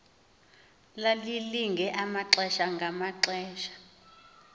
lalilinge amaxesha ngamaxesha